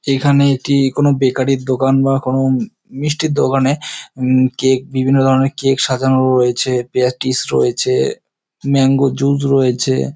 এখানে এটি কোনো বেকারি -এর দোকান বা কোনো মিষ্টির দোকানে উম কেক বিভিন্ন ধরনের কেক সাজানো রয়েছে প্যাটিস রয়েছে ম্যাংগো জুস রয়েছে।